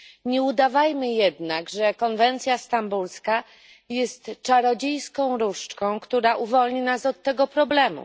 Nie udawajmy jednak, że konwencja stambulska jest czarodziejską różdżką, która uwolni nas od tego problemu.